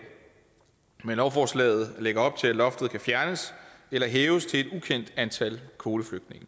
men lovforslaget lægger op til at loftet kan fjernes eller hæves til et ukendt antal kvoteflygtninge